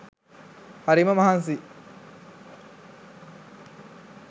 හරිම මහන්සියි